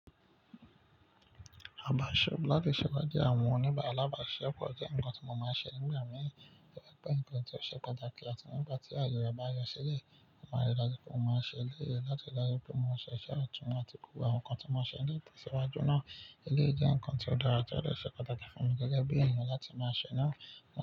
Àbàṣe láti ṣẹ ipàde àwọn oníbà àlàbàsise pọ̀ jẹ́ ǹkan tí mo máa ń ṣe nígbà mìi, tori pe o je ǹkan tí ó ṣe pàtàkì àti nígbà tí àyè re ba yọ sílẹ̀, mo máa rí i dájú pé mo máa ṣe eleyii láti rí dájú pé mo máa ṣe iṣẹ́ àtúnmọ̀ àti gbogbo àwọn ǹkan tí mo máa ṣe ni itesiwájú náà. Eleyii jẹ́ ǹkan tí ó dára tó láti ṣe pàtàkì fún mi gẹ́gẹ́ bí èniyan láti máa ṣe náà.